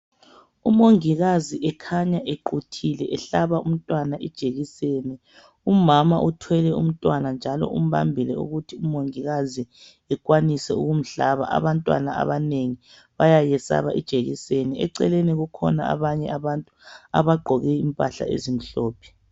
Umongikazi ekhanya equthile ehlaba umntwana ijekiseni, umama uthwele umntwana njalo umbambile ukuthi ekwanise ukumhlaba. Abantwana abanengi bayayisaba ijekiseni. Eceleni kukhona abanye abagqoke impahla ezimhlophe.